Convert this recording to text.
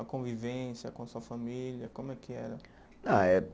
A convivência com a sua família, como é que era? Ah eh